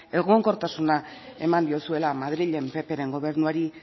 egonkortasuna eman diozuela madrilen ppren gobernuari